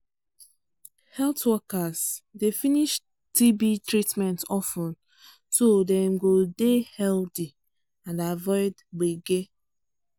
health workers dey finish tb treatment of ten so dem go dey healthy and avoid gbege